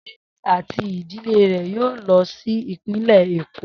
Seyi ati idile rẹ yoo lọ si ipinlẹ Eko.